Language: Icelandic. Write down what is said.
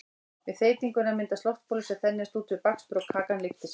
við þeytinguna myndast loftbólur sem þenjast út við bakstur og kakan lyftir sér